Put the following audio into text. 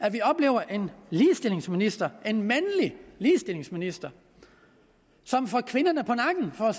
at vi oplever en ligestillingsminister en mandlig ligestillingsminister som får kvinderne på nakken for